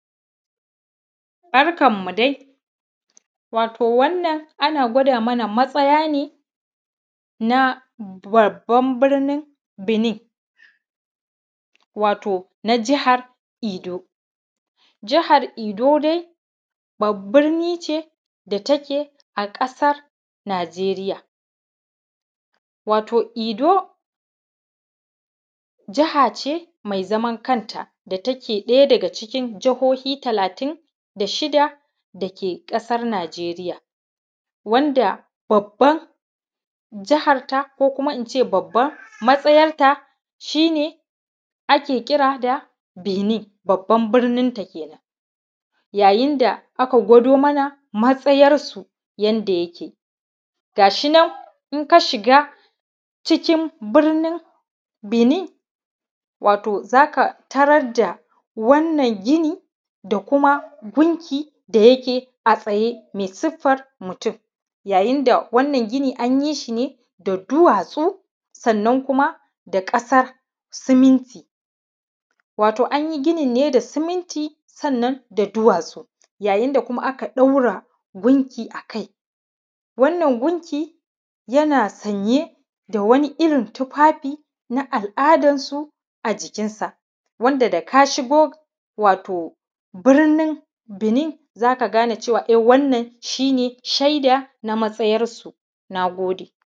Barkan mu dai wato wannan ana gwada mana matsaya ne na babban birnin binin, wato na jihar edo. Jihar edo dai babban birnin ce da take a ƙasar najeriya, wato edo jiha ce mai zaman kanta da take ɗaya daga jihohi talatin da shida da ke ƙasar najeriya. Wadda babban jiharta ko kuma in ce babban matsayar ta shi ne ake ƙira da binin, babban birnin ta kenan.. Yayin da aka gwado mana matsayarsu yadda yake Ga shi nan in ka shiga cikin birnin binin, wato za ka tarar da wannan gini da kuma gunki da yake a tsaye mai siffar mutum, yayin da wannan gini an yi shi ne da duwatsu sannan kuma da ƙasa siminti. Wato an yi ginin ne da siminti sannan da duwatsu. Yayin da kuma aka ɗaura gunki a kai. Wannan gunki yana sanye da wani irin tufafi na al’adansu a jikinsa. Wanda daga ka shigo wato birnin binin za ka gane cewa e wannan shi ne shaida na matsayarsu. Na gode.